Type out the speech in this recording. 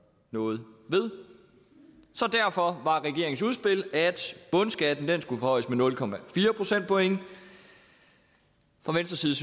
noget ved så derfor var regeringens udspil at bundskatten skulle forhøjes med nul procentpoint fra venstre side